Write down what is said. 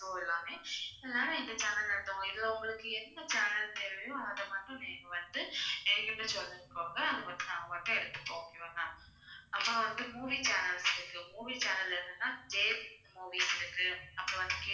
show எல்லாமே வேற இந்த channel ல்ல இருந்து உங்களுக்கு இதுல உங்களுக்கு என்ன channel தேவையோ அதை மட்டும் நீங்க வந்து என்கிட்ட சொல்லிக்கோங்க அதை மட்டும் நாங்க மட்டும் எடுத்துப்போம் okay வா ma'am அப்புறம் வந்து movie channels இருக்கு movie channel ல என்னென்னா ஜே மூவீஸ் இருக்கு அப்புறம் வந்து